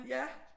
Ja